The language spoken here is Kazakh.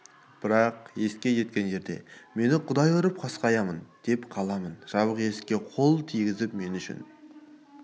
бірақ есікке жеткен жерде мені құдай ұрып қасқаямын да қаламын жабық есікке қол тигізу мен үшін